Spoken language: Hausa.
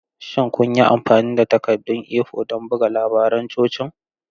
Shin kun yi amfani da takaddun A4 don buga labaran cocin?